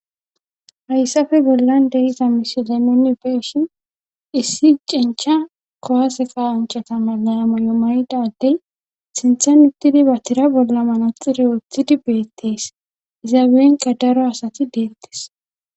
hayssafe bollan deiza misilennuni issi cencha kowaseqa uncata mananamay7o maydaddey sintha mittidi ba tira bolla manaxire woththidi beettees iza beenqadaro asati deettes